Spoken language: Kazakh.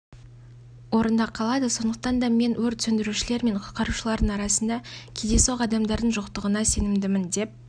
орында қалады сондықтан да мен өрт сөндірушілер мен құтқарушылардың арасында кездейсоқ адамдардың жоқтығына сенімдімін деп